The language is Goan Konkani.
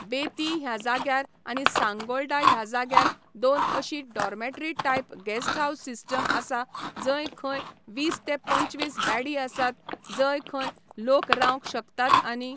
बेतीं ह्या जाग्यार आनी सांगोळडा ह्या जाग्यार दोन अशीं dormitory type guest house system आसा जंय खंय वीस ते पंचवीस बॅडी आसात, जंय खंय लोक रावंक शकतात आनी